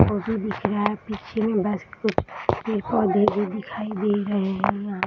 auto दिखा रहा है पीछे बस पेड़-पौधे भी दिखाई दे रहे है यहाँ --